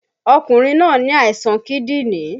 Ọkùnrin náà ní àìsàn kídìní